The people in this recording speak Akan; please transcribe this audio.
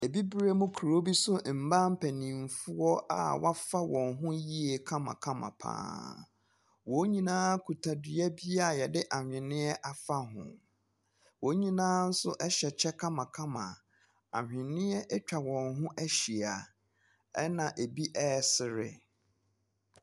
Abibirem kuro bi so ɛmaa mpaninfoɔ a wafa wɔn ho yie kama kama paa. Wɔn nyinaa kuta dua bi a yɛde ahweneɛ afa ho, wɔn nyinaa nso ɛhyɛ kyɛ kama kama a ahweneɛ atwa wɔn ho ahyia, ɛna ebi ɛɛsre.